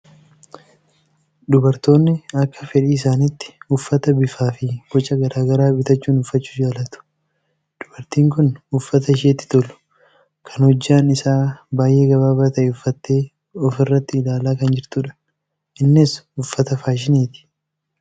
Dubartoonni akka fedhii isaaniitti uffata bifaa fi boca garaa garaa bitachuun uffachuu jaalatu. Dubartiin kun uffata isheetti tolu kan hojjaan isaa baay'ee gabaabaa ta'e uffattee ofirratti ilaalaa kan jirtudha. Innis uffata faashiniiti.